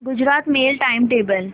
Gujarat mail time table